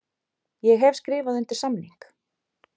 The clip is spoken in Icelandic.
Ég hef skrifað undir samning.